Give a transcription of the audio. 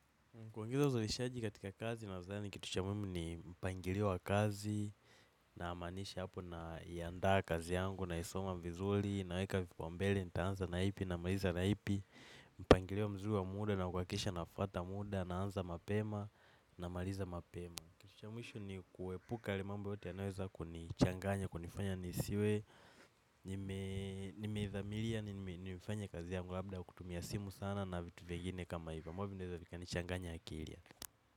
Kuongeza uzalishaji katika kazi nadhani kitu cha muhimu ni mpangilio wa kazi na maanisha hapo na ianda kazi yangu na isoma vizuri na weka vipao mbele nitaanza naipi na maliza naipi mpangilio mzuri wa muda na kuhakikisha nafuata muda na anza mapema namaliza mapema. Kitu cha mwisho ni kuepuka yale mambo yote yanayoweza kunichanganya, kunifanya nisiwe, nimeithamiria, ni nimefanya kazi yangu labda kutumia simu sana na vitu vingine kama hivo. Ambavyo vinaweza kunichanganya akili.